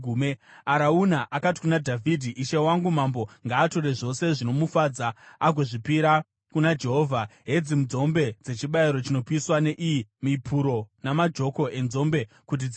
Arauna akati kuna Dhavhidhi, “Ishe wangu mambo ngaatore zvose zvinomufadza agozvipira kuna Jehovha. Hedzi nzombe dzechibayiro chinopiswa, neiyi mipuro namajoko enzombe kuti dzive huni.